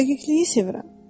Dəqiqliyi sevirəm.